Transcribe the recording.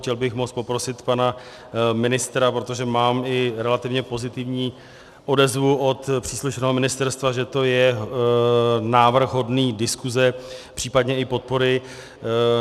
Chtěl bych moc poprosit pana ministra, protože mám i relativně pozitivní odezvu od příslušného ministerstva, že to je návrh hodný diskuze, případně i podpory.